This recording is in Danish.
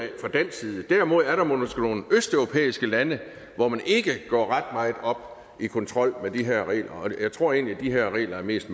derimod er der måske nogle østeuropæiske lande hvor man ikke går ret meget op i kontrol af de her regler og jeg tror egentlig at de her regler mest